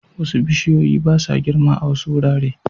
Wasu bishiyoyi ba sa girma a wasu wurare